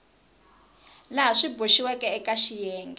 laha swi boxiweke eka xiyenge